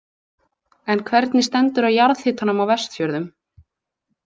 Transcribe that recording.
En hvernig stendur á jarðhitanum á Vestfjörðum?